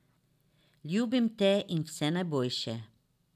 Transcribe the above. Ljubim te in vse najboljše.